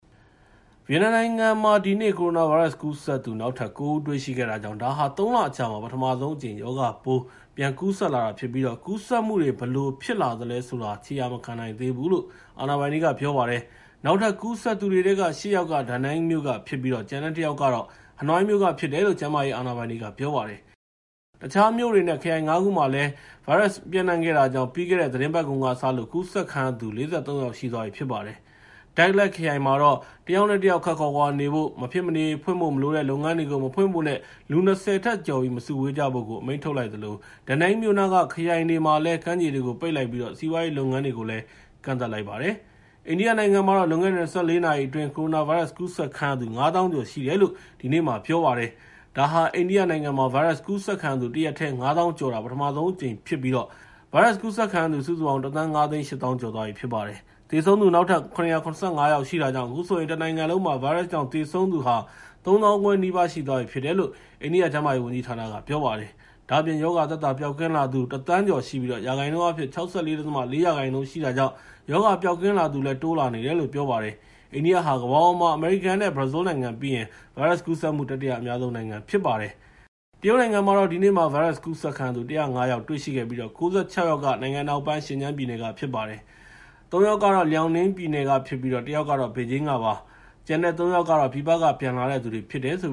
ဗီယက်နမ်နိုင်ငံမှာ ဒီနေ့ ကိုရိုနာဗိုင်းရပ်စ်ကူးစက်သူ နောက်ထပ် ကိုး ဦးတွေ့ရှိခဲ့တာကြောင့် ဒါဟာ ၃ လအကြာမှာ ပထဆုံးအကြိမ် ရောဂါပိုး ပြန်ကူးစက်လာတာဖြစ်ပြီး ကူးစက်မှုတွေ ဘယ်လိုပြန်ဖြစ်လာသလဲဆိုတာ ခြေရာမခံနိုင်သေးဘူးလို့ အာဏာပိုင်တွေက ပြောပါတယ်။ နောက်ထပ်ကူးစက်သူတွေထဲက ရှစ် ယောက်က Danang မြို့ကဖြစ်ပြီး ကျန်တဲ့တစ်ယောက်ကတော့ ဟနွိုင်းမြို့ကဖြစ်တယ်လို့ ကျန်းမာရေးအာဏာပိုင်တွေက ပြောပါတယ်။ တခြားမြို့ တွေ နဲ့ ခရိုင် ၅ ခုကိုလည်း ပျံ့နှံခဲ့တာကြောင့် ပြီးခဲ့တဲ့ သီတင်းပတ်ကုန်ကစလို့ ကူးစက်ခံရသူ ၄၃ ယောက်ရှိသွားပြီဖြစ်ပါတယ်။ Dak Lak ခရိုင်မှာတော့ တစ်ယောက်နဲ့ တစ်ယောက်ခပ်ခွာခွာနေဖို့၊ မဖြစ်မနေဖွင့်ဖို့မလိုတဲ့ လုပ်ငန်းတွေကို မဖွင့်ဖို့နဲ့ လူ ၂၀ ထက်ကျော်ပြီး မစုဝေးကြဖို့ အမိန့်ထုတ်လိုက်သလို Da Nang မြို့နားက ခရိုင်တွေမှာလည်း ကမ်းခြေတွေကို ပိတ်လိုက်ပြီး စီးပွားရေးလုပ်ငန်းတွေကို ကန့်သတ်လိုက်ပါတယ်။ အိန္ဒိယနိုင်ငံမှာ လွန်ခဲ့တဲ့ ၂၄ နာရီအတွင်း ကိုရိုနာဗိုင်းရပ်စ်ကူးစက်ခံရသူ ၅၀,၀၀၀ ကျော်ရှိတယ်လို့ ဒီနေ့ ပြောလိုက်ပါတယ်။ ဒါဟာ အိန္ဒိယမှာ ဗိုင်းရပ်စ်ကူးစက်ခံရသူ တရက်တည်း ၅၀,၀၀၀ ကျော်တာ ပထမဆုံးအကြိမ်ဖြစ်ပြီး ဗိုင်းရပ်စ်ကူးစက်ခံရသူ စုစုပေါင်း ၁,၅၈၀,၀၀၀ ကျော်သွားပြီဖြစ်ပါတယ်။ သေဆုံးသူ နောက်ထပ် ၇၇၅ ယောက်ရှိတာကြောင့် အခုဆိုရင် တနိုင်ငံလုံးမှာ ဗိုင်းရပ်စ်ကြောင့် သေဆုံးသူ ၃၅,၀၀၀ နီးပါး ရှိသွားပြီလို့ အိန္ဒိယကျန်းမာရေးဝန်ကြီးဌာနက ပြောပါတယ်။ ဒါ့အပြင် ရောဂါသက်သာပျောက်ကင်းလာသူ ၁,၀၀၀,၀၀၀ ကျော်ရှိပြီး ရာခိုင်နှုန်းအားဖြင့် ၆၄.၄ ရာခိုင်နှုန်း ရှိတာကြောင့် ရောဂါပျောက်ကင်းလာသူလည်း တိုးလာနေတယ်လို့ ပြောပါတယ်။ အိန္ဒိယဟာ ကမ္ဘာပေါ်မှာ အမေရိကန်နဲ့ ဘရာဇီးနိုင်ငံပြီးရင် ဗိုင်းရပ်စ်ကူးစက်မှု တတိယအများဆုံး ဖြစ်ပါတယ်။ တရုတ်နိုင်ငံမှာတော့ ဒီနေ့မှာ ဗိုင်းရပ်စ်ကူးစက်ခံရသူ ၁၀၅ ယောက်တွေ့ရှိခဲ့ပြီး ၉၆ ယောက်က နိုင်ငံအနောက်ပိုင်း ရှင်ကျန်းပြည်နယ်က ဖြစ်ပါတယ်။ သုံး ယောက်က Liaoning ပြည်နယ်ကဖြစ်ပြီး တစ်ယောက်ကတော့ ဘေဂျင်းကဖြစ်ပါတယ်။ ကျန်တဲ့ သုံး ယောက်ကတော့ ပြည်ပက ပြန်လာသူတွေဖြစ်တယ်လို့